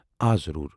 آ، ضروُر ۔